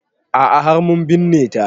A'a har mun binne ta